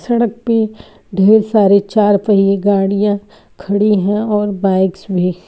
सड़क पे ढेर सारे चारपहिये गाड़ियां खड़ी हैं और बाइक्स भी।